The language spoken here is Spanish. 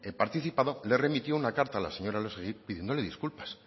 participado le remitió una carta a la señora elósegui pidiéndole disculpas